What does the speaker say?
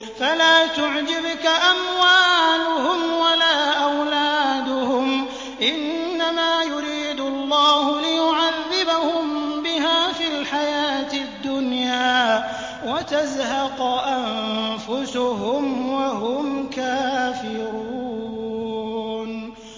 فَلَا تُعْجِبْكَ أَمْوَالُهُمْ وَلَا أَوْلَادُهُمْ ۚ إِنَّمَا يُرِيدُ اللَّهُ لِيُعَذِّبَهُم بِهَا فِي الْحَيَاةِ الدُّنْيَا وَتَزْهَقَ أَنفُسُهُمْ وَهُمْ كَافِرُونَ